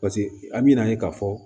Paseke an bi n'a ye k'a fɔ